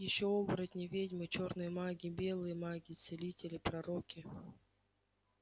ещё оборотни ведьмы чёрные маги белые маги целители пророки